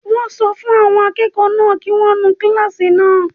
Wọ́n sọ fún àwọn akẹ́kọ̀ọ́ náà kí wọ́n nu kílásì náà